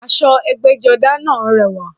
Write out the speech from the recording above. Aṣọ ẹgbẹ́jọdá náà rẹwà